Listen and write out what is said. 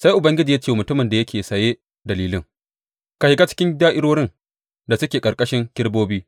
Sai Ubangiji ya ce wa mutumin da yake saye da lilin, Ka shiga cikin da’irorin da suke ƙarƙashin kerubobi.